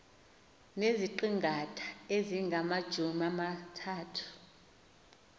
neziqingatha ezingamajumi amathathu